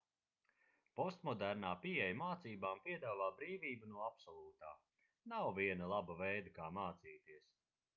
postmodernā pieeja mācībām piedāvā brīvību no absolūtā nav viena laba veida kā mācīties